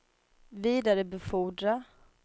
vidarebefordra